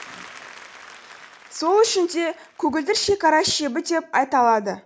сол үшін де көгілдір шекара шебі деп аталады